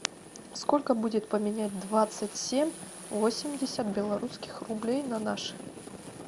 сколько будет поменять двадцать семь восемьдесят белорусских рублей на наши